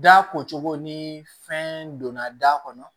Da ko cogo ni fɛn donna da kɔnɔ